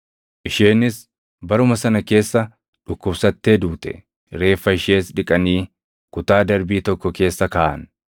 Isheenis baruma sana keessa dhukkubsattee duute; reeffa ishees dhiqanii kutaa darbii tokko keessa kaaʼan.